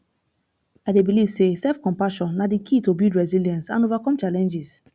i dey believe say selfcompassion na di key to build resilience and overcome challenges